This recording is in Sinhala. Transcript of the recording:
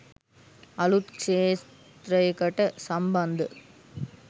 අලුත් ක්‍ෂේත්‍රයකට සම්බන්ධ